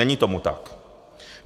Není tomu tak.